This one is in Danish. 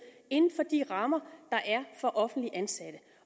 inden for de rammer der er for offentligt ansatte